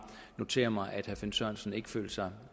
notere mig at herre finn sørensen ikke føler sig